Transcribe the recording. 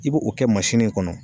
I b'o kɛ mansini kɔnɔ